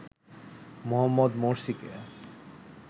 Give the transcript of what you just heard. Mohammad মোরসিকে